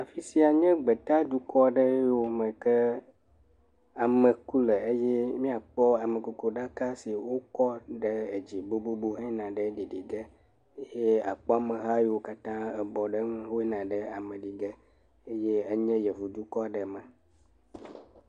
afisia nye gbetá dukɔ ɖewo me ke ame ku le ye miakpɔ amekuku ɖaka yiwo kɔ ɖe dzí bobóbo he yina ɖe ɖiɖìge ye akpɔ ameha yiwo katã ebɔ ɖe nu wó yina ame ɖige eye enye yevu dukɔɖe me